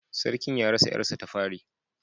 Sarkin ya rasa ‘yarsa ta fari